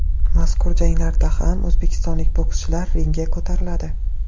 Mazkur janglarda ham o‘zbekistonlik bokschilar ringga ko‘tariladi.